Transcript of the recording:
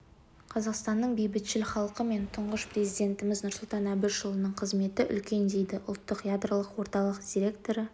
қазақстанның бейбітшіл халқы мен тұңғыш президентіміз нұрсұлтан әбішұлының қызметі үлкен дейді ұлттық ядролық орталық директоры